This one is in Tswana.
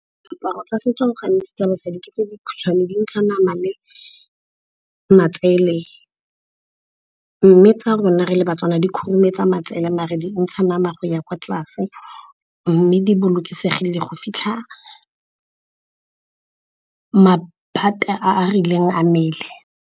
Diaparo tsa setso gantsi tsa basadi ke tse dikhutshwane dintsha nama le matsele. Mme tsa rona re le baTswana di khurumetsa matsele maar di ntsha nama go ya kwa tlase mme di bolokesegile go fitlha maphate a a rileng a mmele.